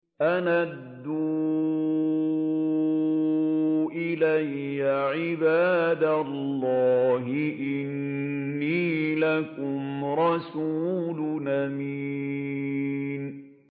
أَنْ أَدُّوا إِلَيَّ عِبَادَ اللَّهِ ۖ إِنِّي لَكُمْ رَسُولٌ أَمِينٌ